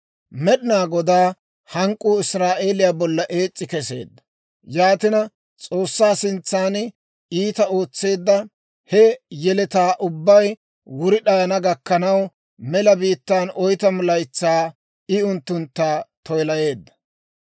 Med'inaa Godaa hank'k'uu Israa'eeliyaa bolla ees's'i keseedda; yaatina S'oossaa sintsan iitaa ootseedda he yeletaa ubbay wuri d'ayana gakkanaw, mela biittaan oytamu laytsaa I unttuntta toyilayeedda.